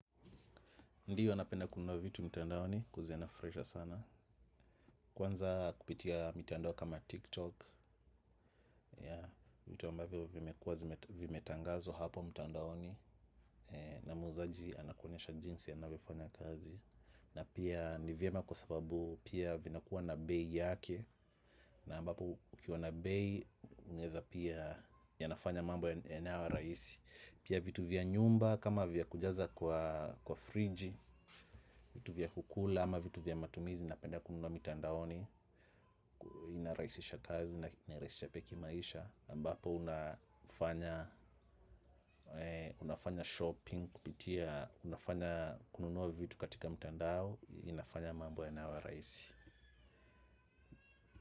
Ndiyo napenda kununua vitu mtandaoni kuuziana fresha sana. Kwanza kupitia mitandao kama TikTok vitu ambavyo vimekuwa zime vimetangazwa hapo mtandaoni na muuzaji anakuonyesha jinsi anavyofanya kazi. Na pia ni vyema kwa sababu pia vinakuwa na bei yake. Na ambapo ukiwa na bei unaweza pia yanafanya mambo yanayo rahisi. Pia vitu vya nyumba kama vya kujaza kwa kwa friji vitu vya kukula ama vitu vya matumizi napenda kununua mitandaoni inarahisisha kazi na inarahisisha pia kimaisha ambapo unafanya unafanya shopping kupitia unafanya kununua vitu katika mtandao inafanya mambo yanayo rahisi.